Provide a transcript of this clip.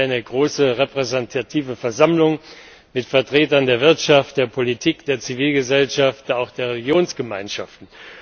Es gibt eine große repräsentative Versammlung mit Vertretern der Wirtschaft, der Politik, der Zivilgesellschaft und auch der Religionsgemeinschaften.